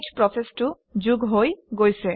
শ প্ৰচেচটো যোগ হৈ গৈছে